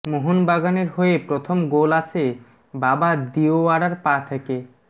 মোহনবাগানের হয়ে প্রথম গোল আসে বাবা দিওয়ারার পা থেকে